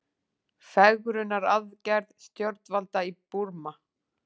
Fegrunaraðgerð stjórnvalda í Búrma